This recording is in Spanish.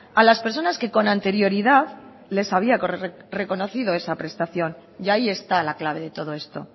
a las personas que con anterioridad les había reconocido esa prestación y ahí está la clave de todo esto